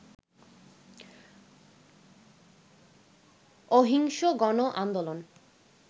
অহিংস গণ আন্দোলন